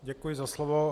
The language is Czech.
Děkuji za slovo.